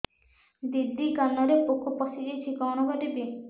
ଦିଦି କାନରେ ପୋକ ପଶିଯାଇଛି କଣ କରିଵି